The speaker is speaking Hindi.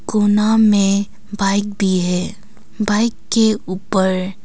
कोना मे बाइक भी है बाइक के ऊपर--